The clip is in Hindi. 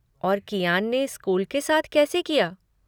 और कियान ने स्कूल के साथ कैसे किया?